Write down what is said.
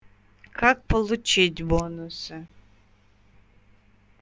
как получить бонусы